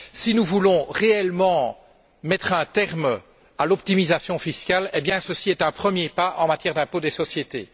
Si nous voulons réellement mettre un terme à l'optimisation fiscale, ceci est un premier pas en matière d'impôt sur les sociétés.